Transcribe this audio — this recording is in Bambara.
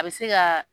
A bɛ se ka